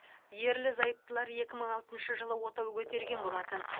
ерлі зайыптылар екі мың алтыншы жылы отау көтерген болатын